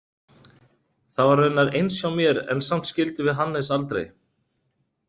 Það var raunar eins hjá mér en samt skildum við Hannes aldrei.